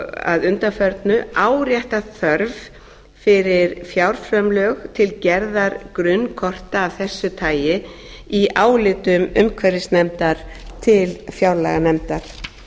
að undanförnu áréttað þörf fyrir fjárframlög til gerðar grunnkorta af þessu tagi í áliti umhverfisnefndar til fjárlaganefndar